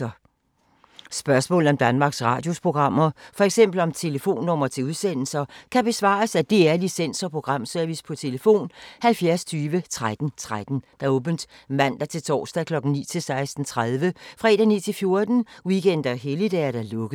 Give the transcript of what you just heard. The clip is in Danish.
Spørgsmål om Danmarks Radios programmer, f.eks. om telefonnumre til udsendelser, kan besvares af DR Licens- og Programservice: tlf. 70 20 13 13, åbent mandag-torsdag 9.00-16.30, fredag 9.00-14.00, weekender og helligdage: lukket.